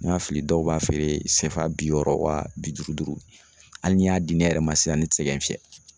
Ni ma fili dɔw b'a feere CFA bi wɔɔrɔ wa bi duuru duuru hali n'i y'a di ne yɛrɛ ma sisan ne tɛ se ka n fiyɛ